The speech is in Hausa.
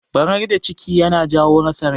Barar da ciki yana jawo rasa rai.